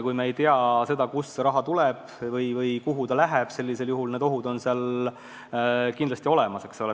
Kui me ei tea, kust mingi raha tuleb või kuhu ta läheb, siis ohud on kindlasti olemas.